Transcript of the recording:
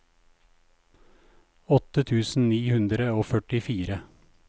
åtte tusen ni hundre og førtifire